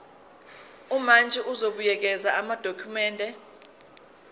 umantshi uzobuyekeza amadokhumende